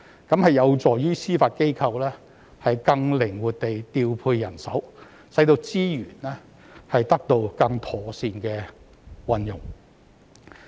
這有助於司法機構更靈活地調配人手，使資源得到更妥善的運用。